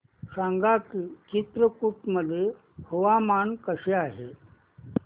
सांगा की चित्रकूट मध्ये हवामान कसे आहे